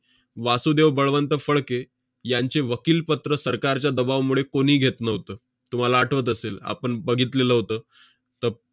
वासुदेव बळवंत फडके यांचे वकीलपत्र सरकारच्या दबावामुळे कोणी घेत नव्हतं. तुम्हाला आठवत असेल, आपण बघितलेलं होतं. त~